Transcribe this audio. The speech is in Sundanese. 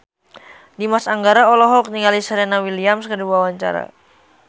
Dimas Anggara olohok ningali Serena Williams keur diwawancara